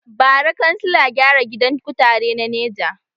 Bara kansila gyara gidan kutare na neja